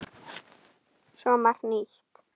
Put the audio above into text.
Svo margt nýtt.